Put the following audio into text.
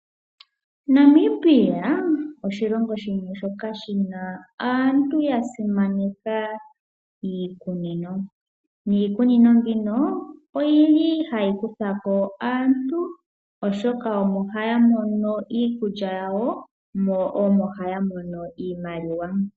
Namibia oshilongo shimwe shoka shina aantu yasimaneka iikunino . Niikunino mbino oyili hayi kuthako aantu oshoka omo haya mono iikulya yawo, mo omo haya mono iimaliwa.